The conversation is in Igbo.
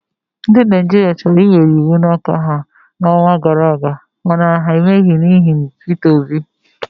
Ndị Naijiria chọrọ iwere iwu n'aka ha n'ọnwa gara aga mana ha emeghị n'ihi Peter Obi.